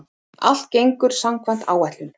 Allt gengur samkvæmt áætlun